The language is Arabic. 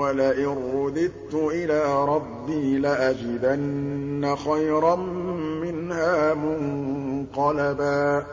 وَلَئِن رُّدِدتُّ إِلَىٰ رَبِّي لَأَجِدَنَّ خَيْرًا مِّنْهَا مُنقَلَبًا